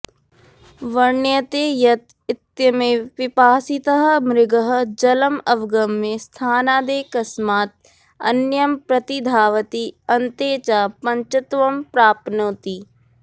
वर्ण्यते यत् इत्यमेव पिपासितः मृगः जलम् अवगम्य स्थानादेकस्मात् अन्यं प्रतिधावति अन्ते च पञ्चत्वं प्राप्नोति